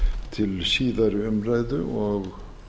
til síðari umræðu og